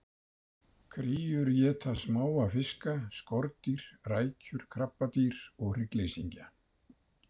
Kríur éta smáa fiska, skordýr, rækjur, krabbadýr og hryggleysingja.